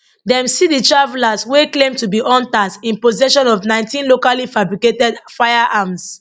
dem see di travellers wey claim to be hunters in possession of 19 locally fabricated firearms